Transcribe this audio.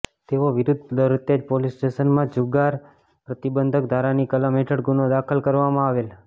તેઓ વિરૂધ્ધ વરતેજ પોલીસ સ્ટેશનમાં જુગાર પ્રતિબંધક ધારાની કલમ હેઠળ ગુન્હો દાખલ કરાવવામાં આવેલ